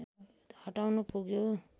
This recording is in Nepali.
हटाउनु पुग्यो